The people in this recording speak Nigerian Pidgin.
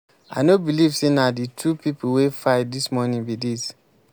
i no believe say na the two people wey fight dis morning be dis.